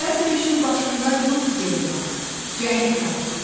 Hər döyüşün başında yurd yeri var, cəngi var.